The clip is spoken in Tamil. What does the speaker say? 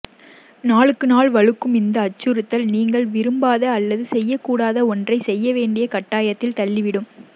நாளுக்கு நாள் வலுக்கும் இந்த அச்சுறுத்தல் நீங்கள் விரும்பாத அல்லது செய்யக்கூடாத ஒன்றை செய்ய வேண்டிய கட்டாயத்தில் தள்ளிவிடும்